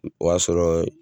O y'a sɔrɔ